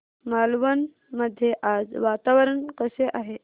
मालवण मध्ये आज वातावरण कसे आहे